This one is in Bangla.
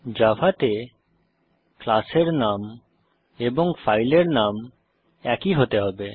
জাভাতে ক্লাসের নাম এবং ফাইলের নাম একই হতে হবে